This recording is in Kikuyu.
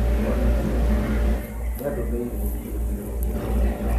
Olly Juma nĩandũmĩire i-mīrū njerũ